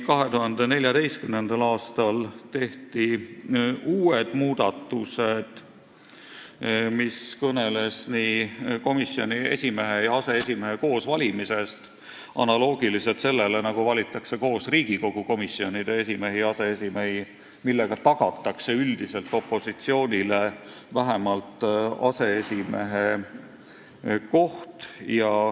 2014. aastal tehti uued muudatused, mis kõnelesid komisjoni esimehe ja aseesimehe koos valimisest, analoogiliselt sellega, nagu valitakse koos Riigikogu komisjonide esimehi ja aseesimehi, millega üldiselt opositsioonile tagatakse vähemalt aseesimehe koht.